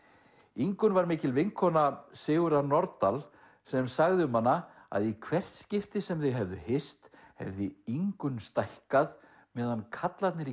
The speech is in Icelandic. Ingunn var mikil vinkona Sigurðar Nordal sem sagði um hana að í hvert skipti sem þau hefðu hist hefði Ingunn stækkað meðan karlarnir